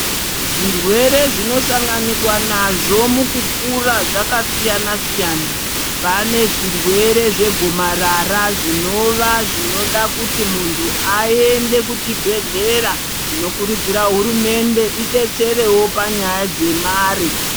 Zvirwere zvinosanganikwa nazvo mukukura zvakasiyana siyana pane zvirwere zvegomarara zvinova zviri zvirwere zvinoda kuti munhu aende kuchibhedhlera tinokurudzira hurumende idetsere wo panyaya dzemare.